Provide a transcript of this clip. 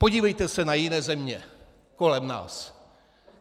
Podívejte se na jiné země kolem nás.